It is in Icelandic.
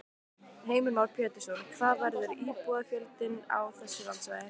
Heimir Már Pétursson: Hvað verður íbúafjöldinn á þessu landsvæði?